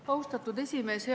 Austatud esimees!